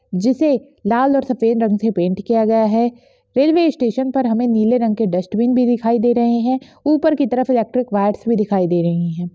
जिसे लाल और सफेद रंग से पेंट किया गया हैं रेलवे स्टेशन पर हमें नीले रंग के डस्टबिन भी दिखाई दे रहे हैं ऊपर की तरफ इलेक्ट्रिक वायर्स भी दिखाई दे रहे हैं।